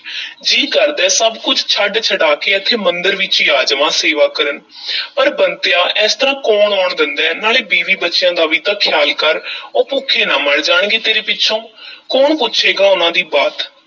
ਜੀਅ ਕਰਦਾ ਹੈ, ਸਭ ਕੁਝ ਛੱਡ-ਛਡਾ ਕੇ ਐਥੇ ਮੰਦਰ ਵਿੱਚ ਈ ਆ ਜਾਵਾਂ ਸੇਵਾ ਕਰਨ ਪਰ ਬੰਤਿਆ ਇਸ ਤਰ੍ਹਾਂ ਕੌਣ ਆਉਣ ਦੇਂਦਾ ਹੈ, ਨਾਲੇ ਬੀਵੀ-ਬੱਚਿਆਂ ਦਾ ਵੀ ਤਾਂ ਖ਼ਿਆਲ ਕਰ ਉਹ ਭੁੱਖੇ ਨਾ ਮਰ ਜਾਣਗੇ ਤੇਰੇ ਪਿੱਛੋਂ ਕੌਣ ਪੁੱਛੇਗਾ ਉਹਨਾਂ ਦੀ ਬਾਤ?